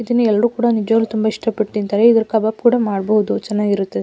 ಇದನ್ನು ಎಲ್ಲರೂ ಕೂಡ ನಿಜವಾಗ್ಲು ತುಂಬಾ ಇಷ್ಟಪಟ್ಟ ತಿಂತರೆ ಇದ್ರದ ಕಬಾಬ್ ಕೂಡ ಮಾಡಬಹುದು ಚೆನ್ನಾಗಿರುತ್ತೆ.